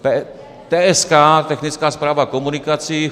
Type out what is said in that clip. TSK, Technická správa komunikací.